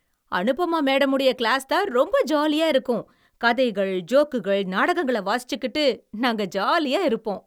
அனுபமா மேடம்முடைய கிளாஸ்தான் ரொம்ப ஜாலியா இருக்கும். கதைகள், ஜோக்குகள், நாடகங்களை வாசிச்சுக்கிட்டு நாங்க ஜாலியா இருப்போம்.